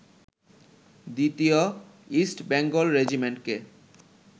দ্বিতীয় ইস্ট বেঙ্গল রেজিমেন্টকে